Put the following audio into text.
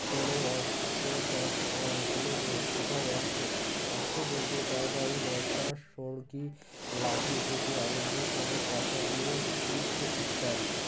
কোনো অস্ত্র সস আ কোনো কোথাও অস্ত্র অস্ত্র বলতে তার বাড়ি বর্শা সড়কি লাঠি থেকে আরম্ভ করে কাঁচা বেল ইট ইত্যাদি